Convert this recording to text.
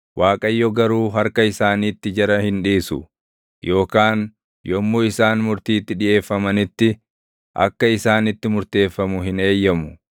Waaqayyo garuu harka isaaniitti jara hin dhiisu yookaan yommuu isaan murtiitti dhiʼeeffamanitti, akka isaanitti murteeffamu hin eeyyamu.